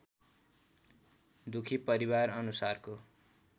दुखी परिवार अनुसारको